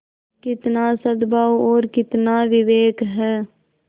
कितना सदभाव और कितना विवेक है